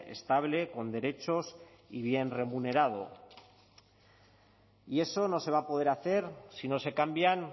estable con derechos y bien remunerado y eso no se va a poder hacer si no se cambian